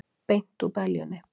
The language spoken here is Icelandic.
Beint úr beljunni!